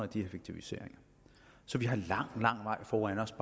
de effektiviseringer så vi har lang lang vej foran os